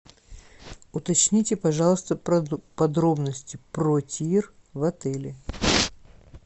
уточните пожалуйста подробности про тир в отеле